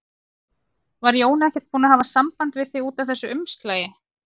Var Jón ekkert búinn að hafa samband við þig út af þessu umslagi?